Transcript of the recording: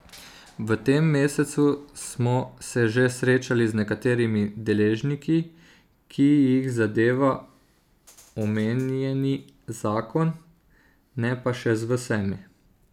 V tem mesecu smo se že srečali z nekaterimi deležniki, ki jih zadeva omenjeni zakon, ne pa še z vsemi.